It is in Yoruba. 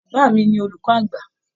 Bàbá mí ní olùkọ àgbà.